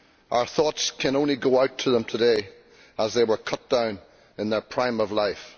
Our thoughts can only go out to them today as they were cut down in the prime of life.